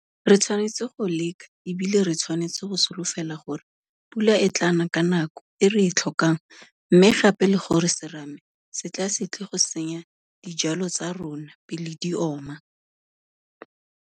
Re tshwanetse go leka e bile re tshwanetse go solofela gore pula e tla na ka nako e re e tlhokang mme gape le gore serame se tla se tle go senya dijwalo tsa rona pele di oma.